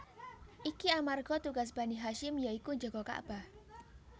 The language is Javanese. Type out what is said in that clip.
Iki amarga tugas Bani Hasyim ya iku njaga Ka bah